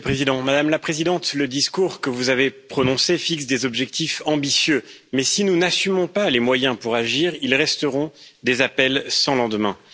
Monsieur le Président, Madame la Présidente, le discours que vous avez prononcé fixe des objectifs ambitieux, mais si nous n'assumons pas les moyens pour agir, ils resteront des appels sans lendemain.